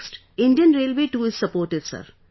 Next, Indian Railway too is supportive, sir